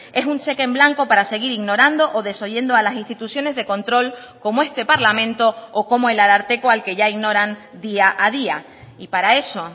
es un cheque en blanco para seguir ignorando o desoyendo a las instituciones de control como este parlamento o como el ararteko al que ya ignoran día a día y para eso